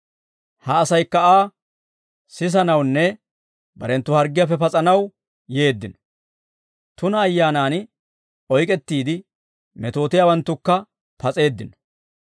Ha asaykka Aa sisanawunne barenttu harggiyaappe pas'anaw yeeddino. Tuna ayyaanan oyk'ettiide metootiyaawanttukka pas'eeddino.